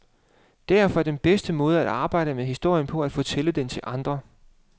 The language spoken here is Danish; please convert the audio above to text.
Derfor er den bedste måde at arbejde med historien på at fortælle den til andre.